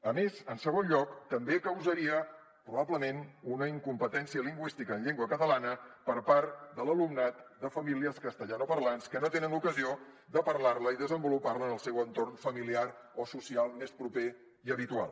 a més en segon lloc també causaria probablement una incompetència lingüística en llengua catalana per part de l’alumnat de famílies castellanoparlants que no tenen l’ocasió de parlar la i desenvolupar la en el seu entorn familiar o social més proper i habitual